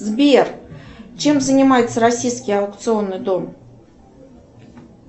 сбер чем занимается российский аукционный дом